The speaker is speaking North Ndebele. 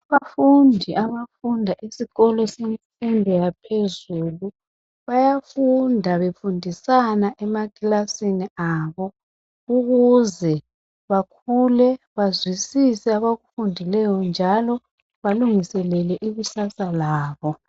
abafundi abafunda esikolo semfundo yaphezulu bayafunda befundisana emakilasini abo ukuze bakhule bazwisise abakufundileyo njalo balungiselele ikusasa labo